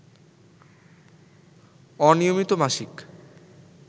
অনিয়মিত মাসিক